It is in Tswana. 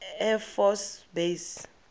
air force base